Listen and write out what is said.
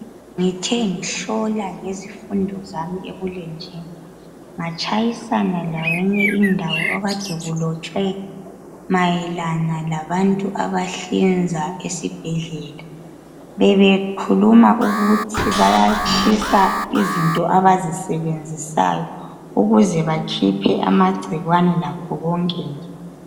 Ngithe ngihlola ngezifundo zami ebulemnjini ngatshayisana leyinye indawo ekade kulotshwe mayelana labantu abahlinza esibhedlela bebekhuluma ukuthi bayatshisa izinto abazisebenzisayo ukuze bakhiphe amacikwane lakho konke nje.